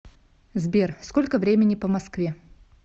сбер сколько времени по москве